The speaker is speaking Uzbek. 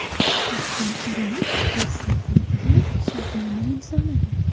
Oston O‘runov Rossiya klubi bilan shartnoma imzoladi.